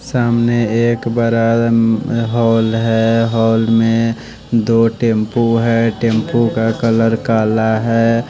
सामने एक बड़ा अ हॉल है हॉल में दो टेंपू है टेंपू का कलर काला है।